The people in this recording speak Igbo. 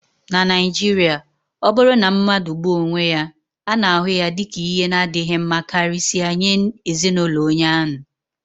na Naijiria, ọ bụrụ na mmadụ gbuo onwe ya, a na-ahụ ya dị ka ihe na-adịghị mma karịsịa nye ezin'ulo onye ahu